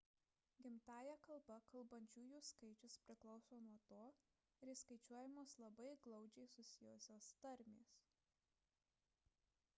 gimtąja kalba kalbančiųjų skaičius priklauso nuo to ar įskaičiuojamos labai glaudžiai susijusios tarmės